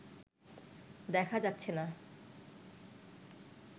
দেখা যাচ্ছেনা